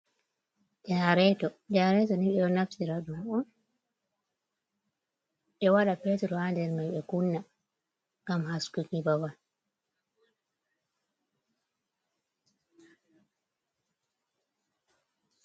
Janareeto. Janareeto ni, ɓe ɗon naftira ɗum on, ɓe waɗa petur haa nder mai. Ɓe kunna ngam haskuki babal.